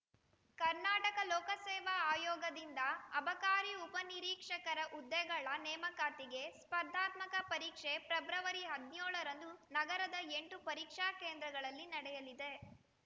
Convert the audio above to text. ಕರ್ನಾಟಕ ಲೋಕಸೇವಾ ಆಯೋಗದಿಂದ ಅಬಕಾರಿ ಉಪ ನಿರೀಕ್ಷಕರ ಹುದ್ದೆಗಳ ನೇಮಕಾತಿಗೆ ಸ್ಪರ್ಧಾತ್ಮಕ ಪರೀಕ್ಷೆ ಫೆಬ್ರವರಿ ಹದಿನ್ಯೋಳರಂದು ನಗರದ ಎಂಟು ಪರೀಕ್ಷಾ ಕೇಂದ್ರಗಳಲ್ಲಿ ನಡೆಯಲಿದೆ